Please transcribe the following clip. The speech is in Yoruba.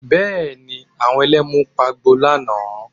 Bẹ́ẹ̀ ni, àwọn Ẹlẹ́mu pagbo lánàá